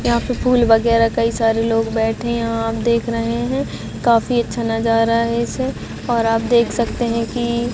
यहाँ पे फूल वैगरह कई सारे लोग बैठे है यहाँ आप देख रहे है काफी अच्छा नजारा है इसे और आप देख सकते है की--